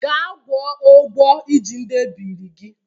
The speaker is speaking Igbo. Ga gwọ ogwọ ị ji ndị ebiri gị!